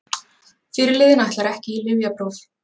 Fyrirliðinn ætlar ekki í lyfjapróf